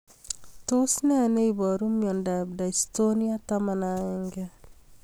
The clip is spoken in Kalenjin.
Tos nee neiparu miondop Dystonia 11